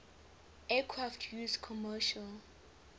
aircraft used commercial